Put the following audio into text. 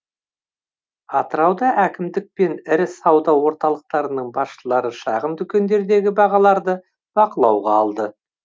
атырауда әкімдік пен ірі сауда орталықтарының басшылары шағын дүкендердегі бағаларды бақылауға алды